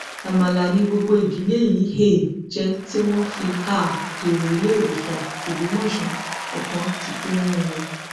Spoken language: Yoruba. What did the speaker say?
amala ni gbogbo ìdílé yìí um jẹ tí wọn fi um dèrò iléewòsàn lògbómọṣọ ọkàn ti kú nínú wọn